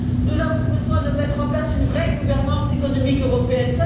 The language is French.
Nous avons besoin de mettre en place une vraie gouvernance économique européenne.